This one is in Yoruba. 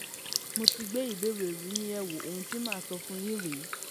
mo ti gbé ìbéèrè yín yẹ̀ wò ohun tí màá sì sọ fún yín rèé